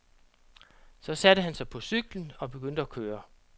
Så satte han sig på cyklen og begyndte at køre.